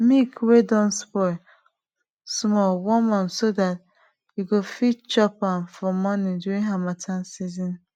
milk wey don spoil small warm am so dat yo go fit chop am for morning during harmattan season